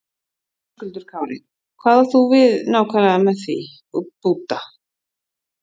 Höskuldur Kári: Hvað átt þú við nákvæmlega með því, búta?